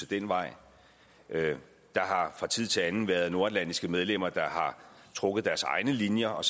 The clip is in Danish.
den vej der har fra tid til anden været nordatlantiske medlemmer der har trukket deres egne linjer og